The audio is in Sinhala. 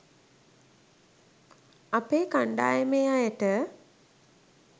අපේ කණ්ඩායමේ අයට